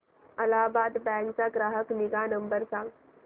Allahabad bank चा ग्राहक निगा नंबर सांगा